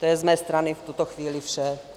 To je z mé strany v tuto chvíli vše.